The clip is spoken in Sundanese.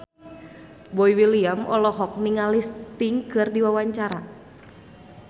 Boy William olohok ningali Sting keur diwawancara